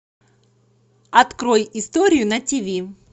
открой историю на тв